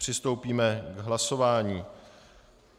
Přistoupíme k hlasování.